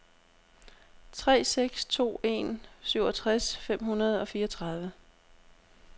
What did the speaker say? tre seks to en syvogtres fem hundrede og fireogtredive